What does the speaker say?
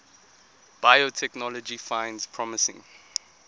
biotechnology finds promising